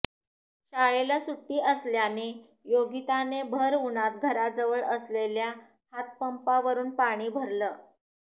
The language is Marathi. शाळेला सुट्टी असल्याने योगिताने भर उन्हात घराजवळ असलेल्या हातपंपावरुन पाणी भरलं